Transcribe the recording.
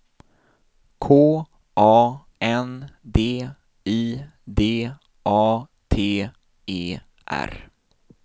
K A N D I D A T E R